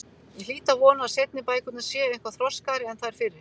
Ég hlýt að vona að seinni bækurnar séu eitthvað þroskaðri en þær fyrri.